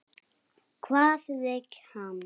Hvað vill hann?